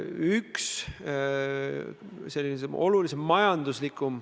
Jaak Juske, täpsustav küsimus, palun!